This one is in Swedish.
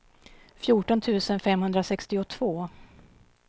fjorton tusen femhundrasextiotvå